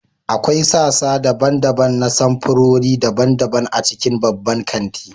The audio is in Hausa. akwai sassa daban-daban na samfurori daban-daban a cikin babban kanti